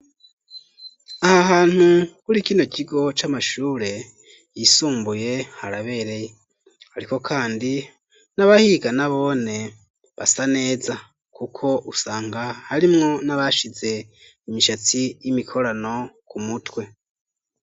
Aha hantu kuri kino kigo c'amashure yisumbuye harabereye ,ariko kandi n'abahiga nabone basa neza, kuko usanga harimwo n'abashize imishatsi y'imikorano ku mutwe.